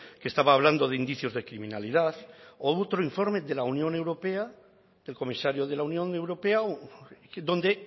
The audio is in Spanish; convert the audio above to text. que estaba hablando de indicios de criminalidad u otro informe de la unión europea del comisario de la unión europea donde